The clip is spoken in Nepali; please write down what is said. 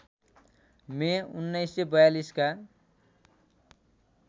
मे १९४२ का